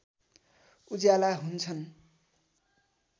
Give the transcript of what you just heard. उज्याला हुन्छन्